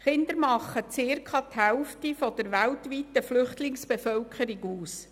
Kinder machen circa die Hälfte der weltweiten Flüchtlingsbevölkerung aus.